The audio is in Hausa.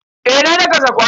Eh na daka sakwaran.